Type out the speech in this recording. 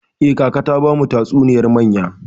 Eh, kaka ta bamu tatsuniyar mayya.